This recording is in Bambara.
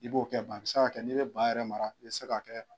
I b'o kɛ a bɛ se ka kɛ n'i bɛ ba yɛrɛ mara i bɛ se ka kɛ